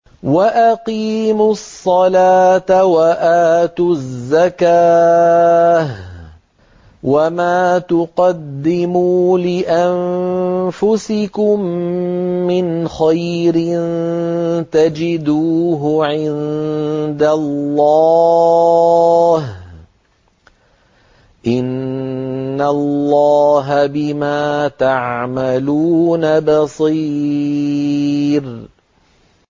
وَأَقِيمُوا الصَّلَاةَ وَآتُوا الزَّكَاةَ ۚ وَمَا تُقَدِّمُوا لِأَنفُسِكُم مِّنْ خَيْرٍ تَجِدُوهُ عِندَ اللَّهِ ۗ إِنَّ اللَّهَ بِمَا تَعْمَلُونَ بَصِيرٌ